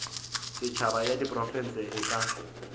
setšhaba ya diprofense e ka